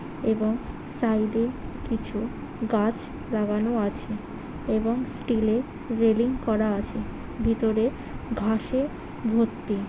এবং সাইড -এ কিছু গাছ লাগানো আছে এবং স্টিল -এর রেলিং করা আছে ভিতরে ঘাসে ভর্তি।